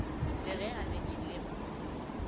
le ge a bethile mpho